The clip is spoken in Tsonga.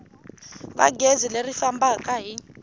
va gezi leri fambaka hi